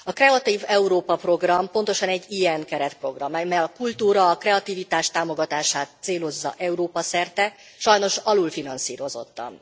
A Kreatív Európa Program pontosan egy ilyen keretprogram, mely a kultúra, a kreativitás támogatását célozza Európa szerte, sajnos alulfinanszírozottan.